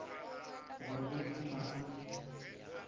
gore o tla tla a